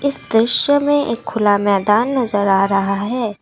इस दृश्य में एक खुला मैदान नज़र आ रहा है।